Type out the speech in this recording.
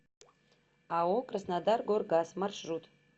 ао краснодаргоргаз маршрут